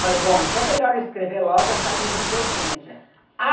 Falei, bom, então é melhor eu escrever logo essa livre docência.